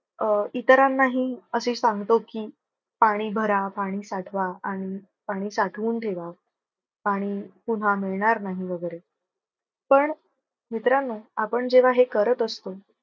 अं इतरांनाही असे सांगतो की, पाणी भरा, पाणी साठवा आणि पाणी साठवून ठेवा. पाणी पुन्हा मिळणार नाही वगैरे पण मित्रांनो आपण जेव्हा हे करत असतो.